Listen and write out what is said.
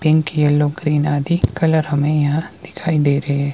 Pink yellow green आदि colour हमें यहां दिखाई दे रहे हैं।